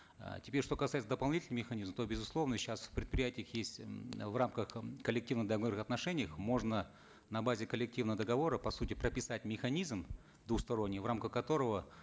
э теперь что касается дополнительного механизма то безусловно сейчас в предприятиях есть э в рамках э коллективного договора в отношениях можно на базе коллективного договора по сути прописать механизм двусторонний в рамках которого